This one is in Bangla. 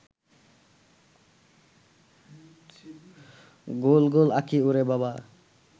গোল গোল আঁখি ওরে বাবা